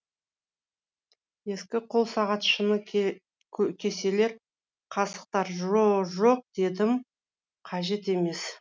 ескі қол сағат шыны кеселер қасықтар жо жоқ дедім қажет емес